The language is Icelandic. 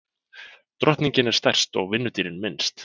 Drottningin er stærst og vinnudýrin minnst.